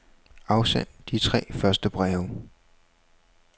Afsend de tre første breve.